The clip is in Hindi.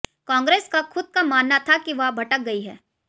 कांग्रेस का खुद का मानना था कि वह भटक गई है